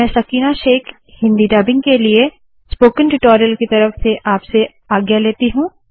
मैं सकीना शेख आपसे आज्ञा लेती हूँ